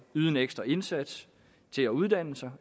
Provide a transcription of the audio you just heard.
yde en ekstra indsats til at uddanne sig